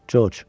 Corc.